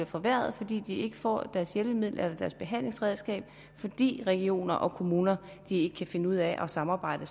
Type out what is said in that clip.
forværret fordi de ikke får deres hjælpemiddel eller behandlingsredskab fordi regionerne og kommunerne ikke kan finde ud af at samarbejde